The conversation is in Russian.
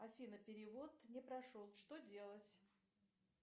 афина перевод не прошел что делать